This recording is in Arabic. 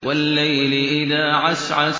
وَاللَّيْلِ إِذَا عَسْعَسَ